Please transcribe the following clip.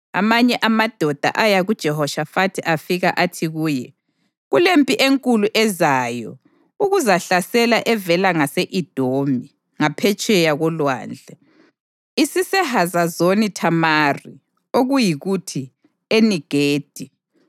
Amanye amadoda aya kuJehoshafathi afika athi kuye, “Kulempi enkulu ezayo ukuzakuhlasela evela ngase-Edomi, ngaphetsheya kolwandle. IsiseHazazoni Thamari” (okuyikuthi, Eni-Gedi).